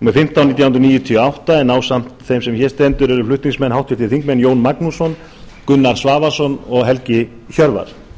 númer fimmtán nítján hundruð níutíu og átta en ásamt þeim sem hér stendur eru flutningsmenn háttvirtur þingmaður jón magnússon gunnar svavarsson og helgi hjörvar